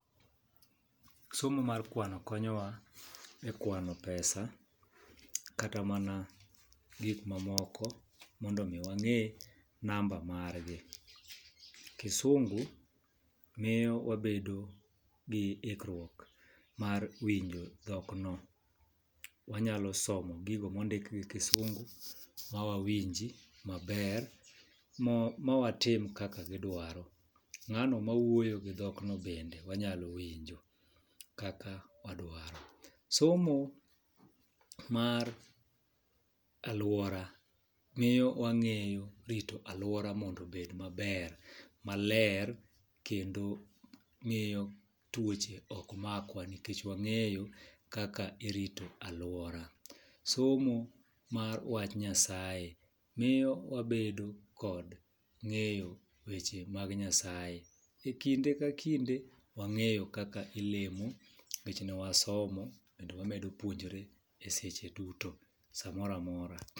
Somo mar kwano konyowa e kwano pesa kata mana gik mamoko mondo mi wang'ee namba margi. Kisungu miyo wabedo gi iikruok mar winjo dhokno, wanyalo somo gigo mondikgi kisungu ma wawinji maber ma watim kaka gi dwaro.Ng'ano mawuoyo gi dhokno bende wanyalo winjo kaka wadwaro. Somo mar aluora miyo wang'eyo rito aluora mondo obed maber maler kendo miyo tuoche ok makwa nikech wang'eyo kaka irito aluora. Somo mar wach nyasaye miyo wabedo kod ng'eyo weche mag nyasaye. Ekinde ka kinde wang'eyo kaka ilemo nikech ne wasomo kendo wamedo puonjore e secheduto samoro amora.